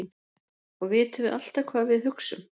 Og vitum við alltaf hvað við hugsum?